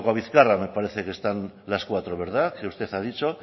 lakuabizkarra me parece que están las cuatro que usted ha dicho